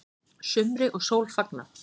Sumri og sól fagnað